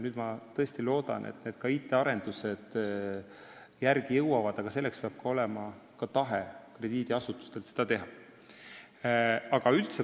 Ma tõesti loodan, et IT-arendused jõuavad järele, aga selleks peab krediidiasutustel olema ka tahe seda teha.